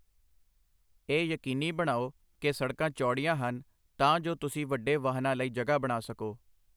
ਇਹ ਯਕੀਨੀ ਬਣਾਓ ਕਿ ਸੜਕਾਂ ਚੌੜੀਆਂ ਹਨ ਤਾਂ ਜੋ ਤੁਸੀਂ ਵੱਡੇ ਵਾਹਨਾਂ ਲਈ ਜਗ੍ਹਾ ਬਣਾ ਸਕੋ।